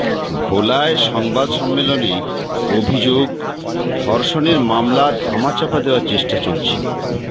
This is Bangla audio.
ভোলায় সংবাদ সম্মেলনে অভিযোগ ধর্ষণের মামলা ধামাচাপা দেওয়ার চেষ্টা চলছে